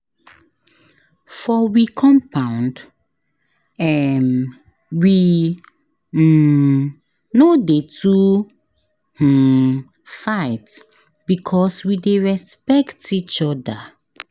For we compound, um we um no dey too um fight because we dey respect each oda.